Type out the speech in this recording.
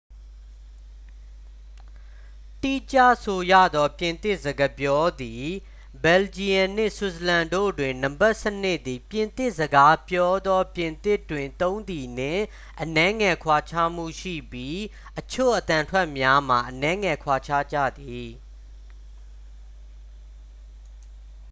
တိကျဆိုရသော် ပြင်သစ်စကားပြောသည့် ဘယ်လ်ဂျီယမ်နှင့် ဆွစ်ဇာလန်တို့တွင် နံပါတ်စနစ်သည် ပြင်သစ်စကားပြောသော ပြင်သစ်တွင်သုံးသည်နှင့် အနည်းငယ်ကွာခြားမှုရှိပြီး အချို့အသံထွက်များမှာ အနည်းငယ်ကွာခြားကြသည်